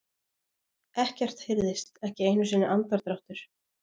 Ekkert heyrðist, ekki einu sinni andardráttur.